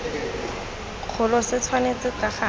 kgolo se tshwanetse ka gale